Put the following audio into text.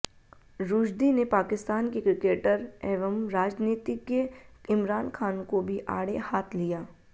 रुश्दी ने पाकिस्तान के क्रिकेटर एवं राजनीतिज्ञ इमरान खान को भी आड़े हाथ लिया